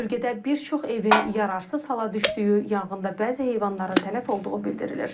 Bölgədə bir çox evin yararsız hala düşdüyü, yanğında bəzi heyvanların tələf olduğu bildirilir.